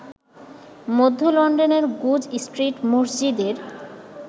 মধ্য লন্ডনের Goodge street মসজিদের